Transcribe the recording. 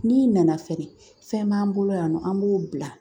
N'i nana fɛnɛ fɛn b'an bolo yan nɔ an b'o bila